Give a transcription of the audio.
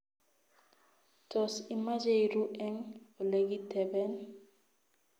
Tos, imache irruu eng olegiteben?